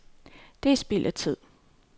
Det er spild af tid.